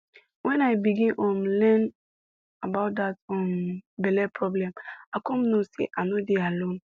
when i begin um learn about that um belle problem i come know say i no dey alone